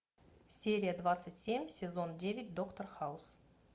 серия двадцать семь сезон девять доктор хаус